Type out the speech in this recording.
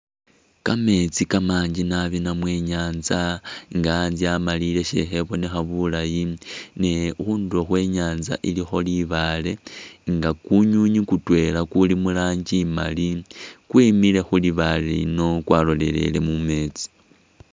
Kamesti kamanji nabi namwe inyantsa nga atsa amalile sekhebonekha bulayi ne khunduro khwe inyatsa ilikho libale nga kunwinwi kutwela kuli muranji imali kwimile khulibale lino kwaloleleye mumetsi.